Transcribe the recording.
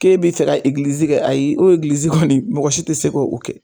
K'e be fɛ ka egilizi kɛ ayi o egilizi kɔni mɔgɔ si te se k''o kɛ